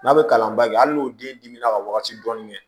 N'a bɛ kalan bange hali n'o den dimi na ka wagati dɔɔni kɛ